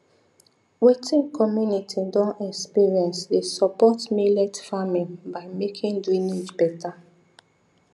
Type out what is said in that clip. wetin community don experience dey support millet farming by making drainage better